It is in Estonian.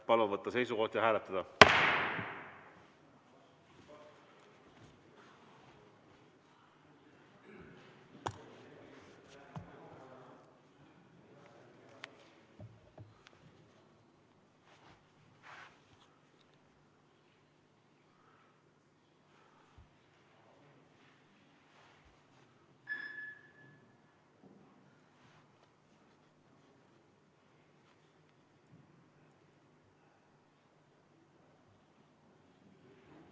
Palun võtta seisukoht ja hääletada!